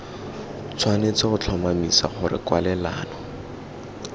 tshwanetse go tlhomamisa gore kwalelano